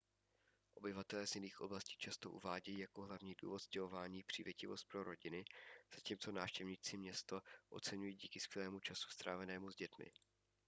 obyvatelé z jiných oblastí často uvádějí jako hlavní důvod stěhování přívětivost pro rodiny zatímco návštěvníci město oceňují díky skvělému času strávenému s dětmi